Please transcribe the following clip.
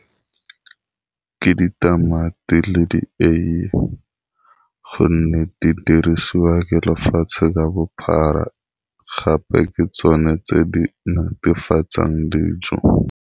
Ke ditamati le di eiye gonne di dirisiwa ke lefatshe ka bophara gape ke tsone tse di netefatsang dijo.